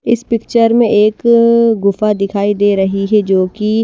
इस पिक्चर में एक गुफा दिखाई दे रही है जो कि--